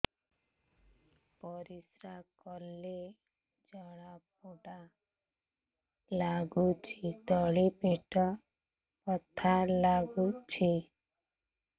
ପରିଶ୍ରା କଲେ ଜଳା ପୋଡା ଲାଗୁଚି ତଳି ପେଟ ବଥା ଲାଗୁଛି